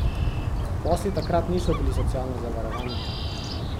Posli takrat niso bili socialno zavarovani.